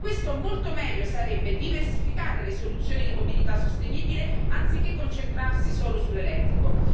Per questo, molto meglio sarebbe diversificare le soluzioni di mobilità sostenibile, anziché concentrarsi solo sull'elettrico.